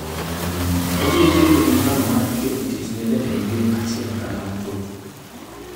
Obiro bedo gi nyalo mar keto tich ne jatend piny achiel kata mathoth.